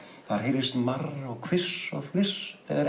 það heyrist marr og hviss og fliss þegar